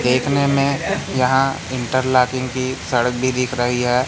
देखने में यहां इंटरलाकिंग की सड़क भी दिख रही है।